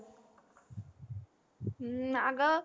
हम्म आग